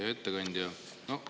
Hea ettekandja!